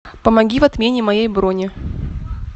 помоги в отмене моей брони